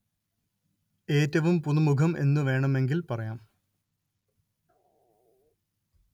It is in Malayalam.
എറ്റവും പുതുമുഖം എന്നു വേണമെങ്കില്‍ പറയാം